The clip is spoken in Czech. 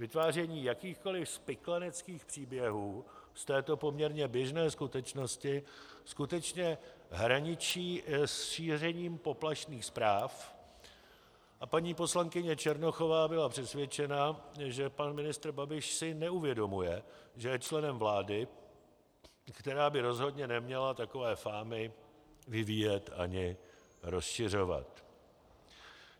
Vytváření jakýchkoli spikleneckých příběhů z této poměrně běžné skutečnosti skutečně hraničí s šířením poplašných zpráv a paní poslankyně Černochová byla přesvědčena, že pan ministr Babiš si neuvědomuje, že je členem vlády, která by rozhodně neměla takové fámy vyvíjet ani rozšiřovat.